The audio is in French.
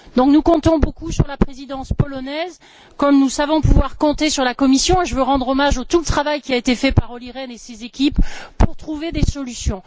Nous comptons donc beaucoup sur la présidence polonaise, comme nous savons pouvoir compter sur la Commission et je veux rendre hommage à tout le travail qui a été fait par Olli Rehn et ses équipes pour trouver des solutions.